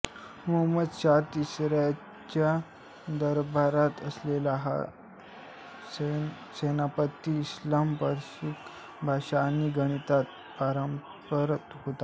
मुहम्मद शाह तिसऱ्याच्या दरबारात असलेला हा सेनापती इस्लाम पर्शियन भाषा आणि गणितात पारंगत होता